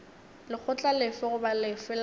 lekgotla lefe goba lefe la